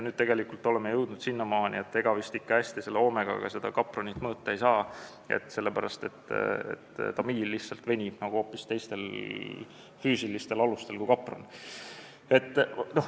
Nüüd me oleme jõudnud selleni, et ega vist Omegaga seda kapronit hästi mõõta ei saa, sest tamiil lihtsalt venib hoopis teistel füüsilistel alustel kui kapron.